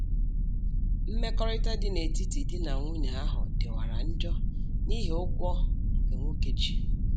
Mmekọrịta dị n'etiti di na nwunye ahụ dịwara njọ n'ihi ụgwọ nke nwoke ji